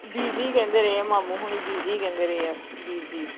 ਬੀਜੀ ਅਖੰਡ ਰਹੇ ਆ ਮਾਮੂ ਹੁਨੀ ਬੀਜੀ ਕਹਿੰਦੇ ਰਹੇ ਆ ਬੀਜ਼ੀ